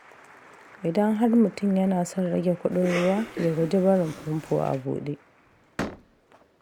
Idan har mutum yana son rage kuɗin ruwa, ya guji barin famfo a buɗe.